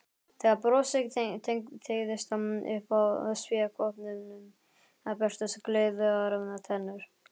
Þegar brosið teygðist upp að spékoppunum birtust gleiðar tennur.